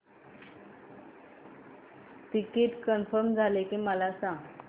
ticket confirm झाले की मला सांग